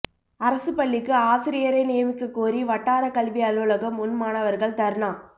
அரசுப் பள்ளிக்கு ஆசிரியரை நியமிக்கக் கோரி வட்டாரக் கல்வி அலுவலகம் முன் மாணவா்கள் தா்னா